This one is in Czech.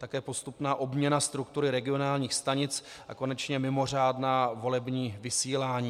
Také postupná obměna struktury regionálních stanic a konečně mimořádná volební vysílání.